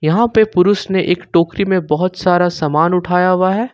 यहां पे पुरुष ने एक टोकरी में बहोत सारा सामान उठाया हुआ है।